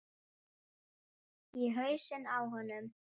Í hausinn á honum.